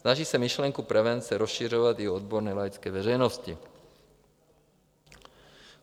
Snaží se myšlenku prevence rozšiřovat u odborné i laické veřejnosti.